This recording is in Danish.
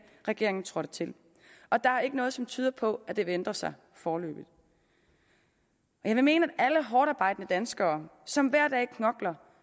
regeringen trådte til og der er ikke noget som tyder på at det vil ændre sig foreløbig jeg vil mene at alle hårdtarbejdende danskere som hver dag knokler